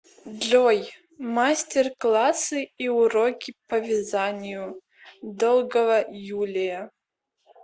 джой мастер классы и уроки по вязанию долгова юлия